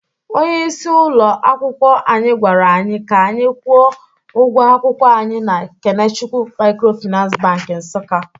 Onye isi ụlọ akwụkwọ anyị gwara anyị ka anyị kwụọ ụgwọ akwụkwọ anyị na Kenechukwu Microfinance bank Nsukka